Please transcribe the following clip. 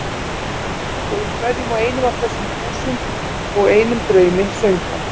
Og í hverjum og einum af þessum þúsund og einum draumi söng hann